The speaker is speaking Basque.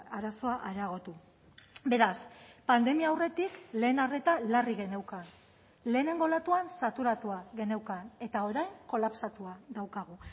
arazoa areagotu beraz pandemia aurretik lehen arreta larri geneukan lehenengo olatuan saturatua geneukan eta orain kolapsatua daukagu